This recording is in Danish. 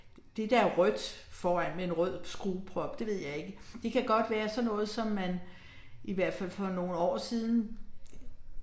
Det der er rødt, foran, med en rød skrueprop det ved jeg ikke, det kan godt være sådan noget som man i hvert fald for nogle år siden